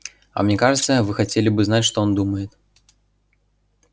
а мне кажется вы хотели бы знать что он думает